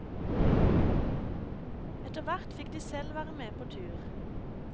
Etterhvert fikk de selv være med på tur.